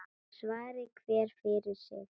Svari hver fyrir sig.